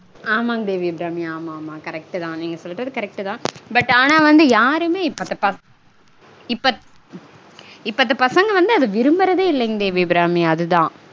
ஆமாங் தேவி அபிராமி. ஆமாமா correct -தா. நீங்க சொல்றது correct -தா but ஆனா வந்து யாருமே இப்பத்த பச இப்பத் இப்பத்த பசங்க வந்து அத விரும்பரதே இல்லைங் தேவி அபிராமி அதுதா